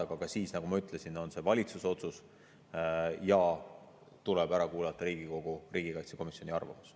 Aga ka siis, nagu ma ütlesin, on valitsuse otsust ja tuleb ära kuulata Riigikogu riigikaitsekomisjoni arvamus.